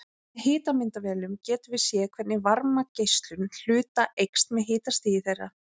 Með hitamyndavélum getum við séð hvernig varmageislun hluta eykst með hitastigi þeirra.